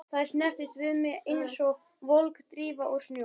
Þær snertust við mig einsog volg drífa úr snjó.